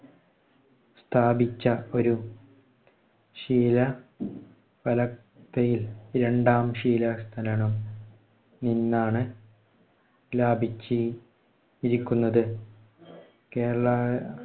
സ്ഥാപിച്ച ഒരു ശിലാഫലകയിൽ രണ്ടാം ശിലാ നിന്നാണ് ലാഭിച്ചി~രിക്കുന്നത്. കേരള